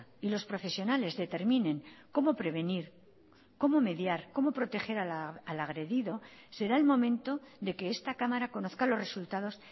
y los profesionales determinen cómo prevenir cómo mediar cómo proteger al agredido será el momento de que esta cámara conozca los resultados